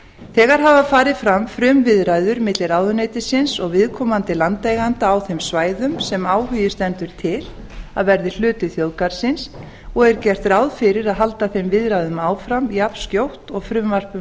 þegar hafa farið fram frumviðræður milli ráðuneytisins og viðkomandi landeigenda á þeim svæðum sem áhugi stendur til að verði hluti þjóðgarðsins og er gert ráð fyrir að halda þeim viðræðum áfram jafnskjótt og frumvarp um